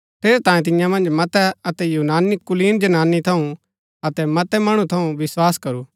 ठेरैतांये तियां मन्ज मतै अतै यूनानी कुलीन जनानी थऊँ अतै मतै मणु थऊँ विस्वास करू